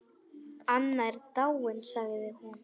Anna er dáin sagði hún.